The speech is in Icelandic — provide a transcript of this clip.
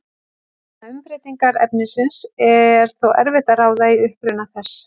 Vegna umbreytingar efnisins er þó erfitt að ráða í uppruna þess.